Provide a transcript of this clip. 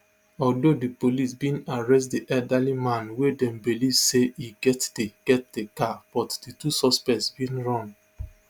although di police bin arrest di elderly man wey dem believe say e get di get di car but di two suspects bin run